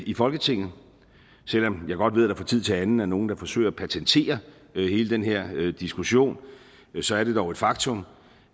i folketinget og selv om jeg godt ved at der fra tid til anden er nogle der forsøger at patentere hele den her diskussion så er det dog et faktum